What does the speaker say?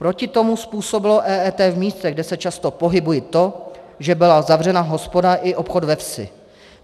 Proti tomu způsobilo EET v místech, kde se často pohybuji, to, že byla zavřena hospoda i obchod ve vsi.